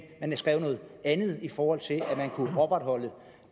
noget andet i forhold til at kunne opretholde